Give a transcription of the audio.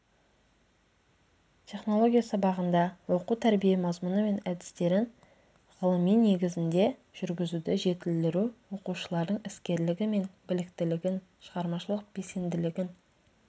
технология сабағында оқу-тәрбие мазмұны мен әдістерін ғылыми негізде жүргізуді жетілдіру оқушылардың іскерлігі мен біліктілігін шығармашылық белсенділігін